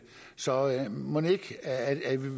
så mon ikke